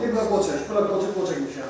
Get qoy çək, burda qoy çəkmişəm.